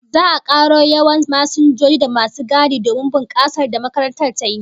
Za'a karo yawan masinjoji da masu gadi domin bunkasar da makarantar tayi